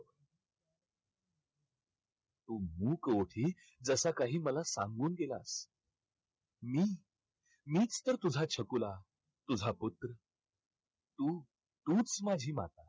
मुख होते जसा काही मला सांगून दिला. मी मीच तर तुझा छकुला, तुझा पुत्र. तू तूच माझी माता.